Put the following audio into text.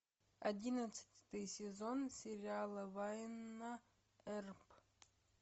одиннадцатый сезон сериала вайнона эрп